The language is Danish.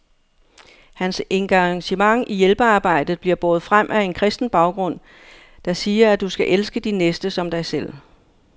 Hans engagement i hjælpearbejdet bliver båret frem af en kristen baggrund, der siger, at du skal elske din næste som dig selv.